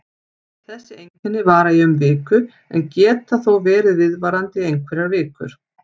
Þessi einkenni vara í um viku en geta þó verið viðvarandi í einhverjar vikur.